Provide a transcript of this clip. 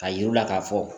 A yir'u la k'a fɔ